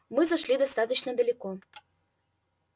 мы зашли достаточно далеко